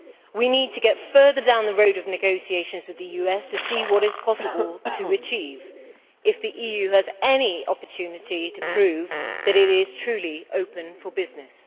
We need to get further down the road of negotiations with the US to see what it is possible to achieve if the EU has any opportunity to prove that it is truly open for business.